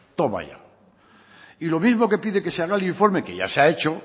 toma ya y lo mismo que pide que se haga el informe que ya se ha hecho